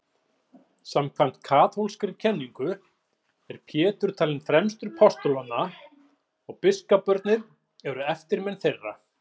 Samkvæmt kaþólskri kenningu er Pétur talinn fremstur postulanna og biskuparnir eru eftirmenn þeirra.